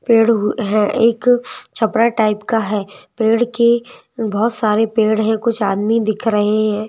पेड़ हुए हैं एक छपड़ा टाइप का है पेड़ के बहुत सारे पेड़ हैं कुछ आदमी दिख रहे हैं।